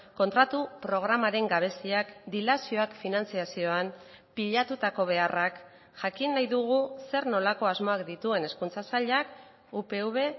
kontratu programaren gabeziak dilazioak finantzazioan pilatutako beharrak jakin nahi dugu zer nolako asmoak dituen hezkuntza sailak upv